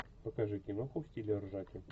покажи киноху в стиле ржаки